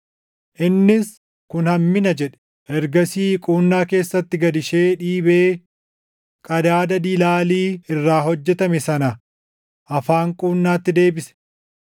Innis, “Kun hammina” jedhe; ergasii quunnaa keessatti gad ishee dhiibee qadaada dilaalii irraa hojjetame sana afaan quunnaatti deebise.